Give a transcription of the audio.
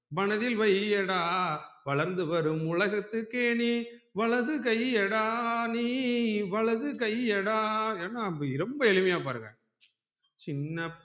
மனதில் வையடா வளர்ந்து வரும் உலகத்துக்கு நீ வலதுகையடா நீ வலதுகையடா ரொம்ப எளுமையா பாருங்க